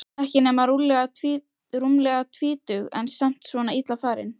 Ekki nema rúmlega tvítug en samt svona illa farin.